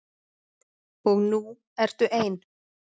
Og nú ertu ein.